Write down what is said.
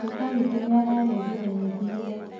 Guka witũ nĩararengire nyeki ira